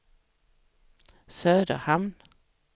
Söderhamn